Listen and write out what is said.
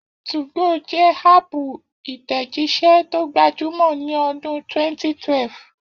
2go jẹ́ háàpù ìtẹ̀jíṣẹ́ tó gbajúmọ̀ ní ọdún 2012